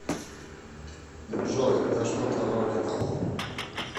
джой да что то вроде того